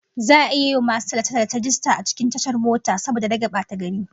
Za'a yi wa masu tallace-tallace rajista a cikin tashar mota saboda rage batagari